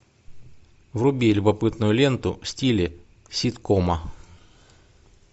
вруби любопытную ленту в стиле ситкома